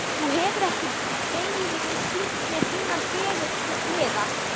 Þú hefur ekki beinlínis sýnt mér þínar fegurstu hliðar.